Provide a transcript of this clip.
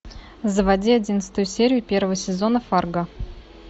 заводи одиннадцатую серию первого сезона фарго